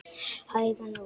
Hægan nú